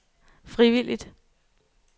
frivilligt